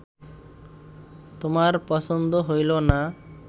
তোমার পছন্দ হইল না